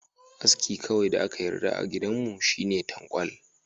Aski kawai da aka yarda a gidanmu shine tankwal.